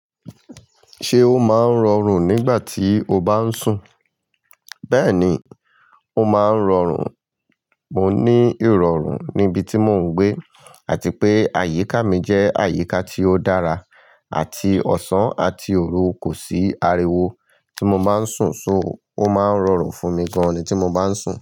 Ṣé o máa ń rọrùn nígbà tí o bá ń sùn? Bẹ́ẹ̀ni, ó máa ń rọrùn. Mo ní irọrun níbi tí mò ń gbé àti pé àyíká mi jẹ́ àyíká tí ó dára àti ọ̀sán àti òru kò sí ariwo tí mo máa ń sùn, só, ó máa ń rọrùn fún mi gan-an tí mo bá ń sùn.